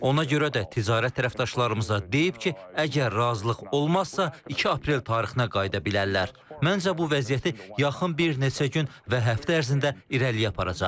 Ona görə də ticarət tərəfdaşlarımıza deyib ki, əgər razılıq olmazsa, 2 aprel tarixinə qayıda bilərlər, məncə bu vəziyyəti yaxın bir neçə gün və həftə ərzində irəliyə aparacaq.